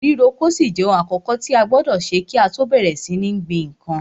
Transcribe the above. Ríro oko yóò ṣì jẹ ohun àkọ́kọ̀ tí a gbọdọ̀ kí á tọ́ bẹ̀rẹ̀ sí ní gbin nǹkan.